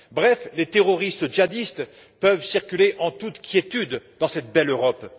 Bref, les terroristes djihadistes peuvent circuler en toute quiétude dans cette belle Europe.